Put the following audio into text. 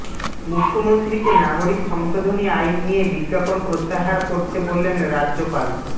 মুখ্যমন্ত্রীকে নাগরিক সংশোধনী আইন নিয়ে বিজ্ঞাপন প্রত্যাহার করতে বললেন রাজ্যপাল